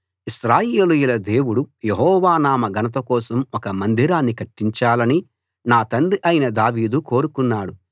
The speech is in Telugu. ఇశ్రాయేలీయుల దేవుడు యెహోవా నామ ఘనత కోసం ఒక మందిరాన్ని కట్టించాలని నా తండ్రి అయిన దావీదు కోరుకున్నాడు